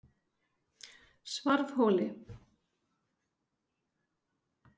Svarfhóli